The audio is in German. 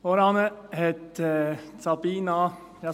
Vorhin hat Sabina Geissbühler …